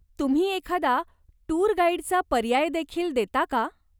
तुम्ही एखादा टूर गाईडचा पर्याय देखील देता का?